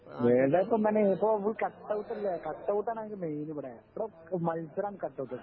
വേറെ ഇപ്പോ മോനേ ഇപ്പോ ഫുൾ കട്ട് ഔട്ട് അല്ലേ കട്ട് ഔട്ട് ആണ് മെയിന് ഇവിടെ . ഇവിടെ മത്സരം കട്ട് ഔട്ട്